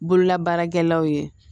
Bololabaarakɛlaw ye